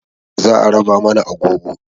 Za a raba mana agogo